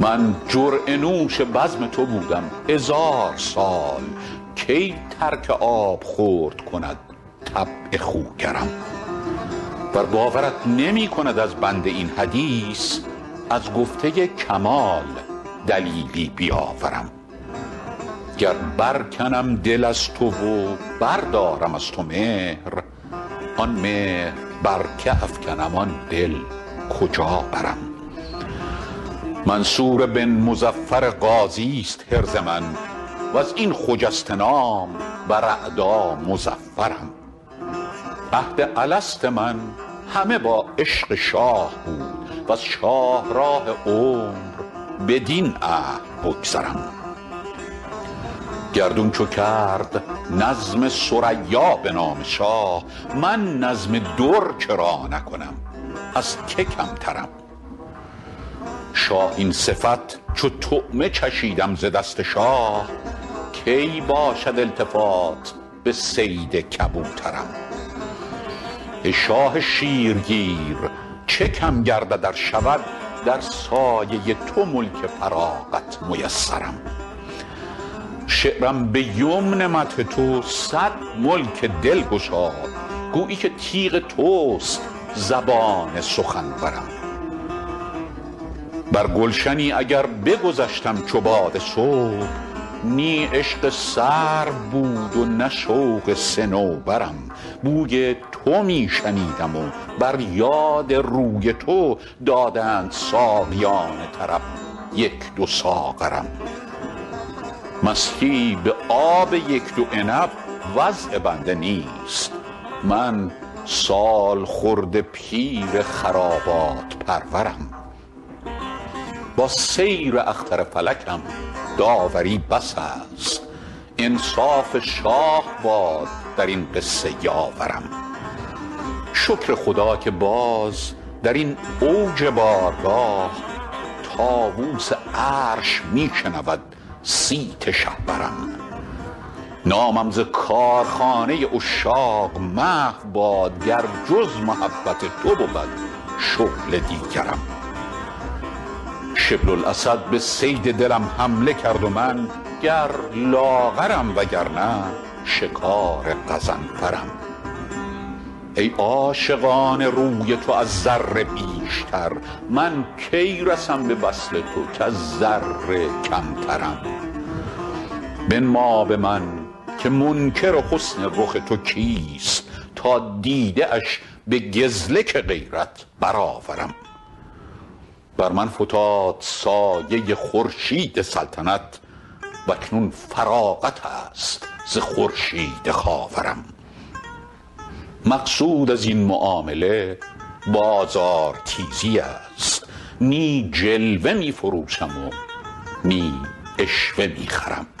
من جرعه نوش بزم تو بودم هزار سال کی ترک آبخورد کند طبع خوگرم ور باورت نمی کند از بنده این حدیث از گفته کمال دلیلی بیاورم گر برکنم دل از تو و بردارم از تو مهر آن مهر بر که افکنم آن دل کجا برم منصور بن مظفر غازیست حرز من و از این خجسته نام بر اعدا مظفرم عهد الست من همه با عشق شاه بود وز شاهراه عمر بدین عهد بگذرم گردون چو کرد نظم ثریا به نام شاه من نظم در چرا نکنم از که کمترم شاهین صفت چو طعمه چشیدم ز دست شاه کی باشد التفات به صید کبوترم ای شاه شیرگیر چه کم گردد ار شود در سایه تو ملک فراغت میسرم شعرم به یمن مدح تو صد ملک دل گشاد گویی که تیغ توست زبان سخنورم بر گلشنی اگر بگذشتم چو باد صبح نی عشق سرو بود و نه شوق صنوبرم بوی تو می شنیدم و بر یاد روی تو دادند ساقیان طرب یک دو ساغرم مستی به آب یک دو عنب وضع بنده نیست من سالخورده پیر خرابات پرورم با سیر اختر فلکم داوری بسیست انصاف شاه باد در این قصه یاورم شکر خدا که باز در این اوج بارگاه طاووس عرش می شنود صیت شهپرم نامم ز کارخانه عشاق محو باد گر جز محبت تو بود شغل دیگرم شبل الاسد به صید دلم حمله کرد و من گر لاغرم وگرنه شکار غضنفرم ای عاشقان روی تو از ذره بیشتر من کی رسم به وصل تو کز ذره کمترم بنما به من که منکر حسن رخ تو کیست تا دیده اش به گزلک غیرت برآورم بر من فتاد سایه خورشید سلطنت و اکنون فراغت است ز خورشید خاورم مقصود از این معامله بازارتیزی است نی جلوه می فروشم و نی عشوه می خرم